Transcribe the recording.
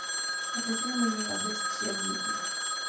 Ateti nĩmaiyaga mbeca cia mũingĩ